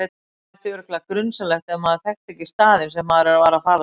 Það þætti örugglega grunsamlegt ef maður þekkti ekki staðinn sem maður var að fara til.